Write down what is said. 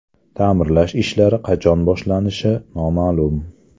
Ta’mirlash ishlari qachon boshlanishi noma’lum.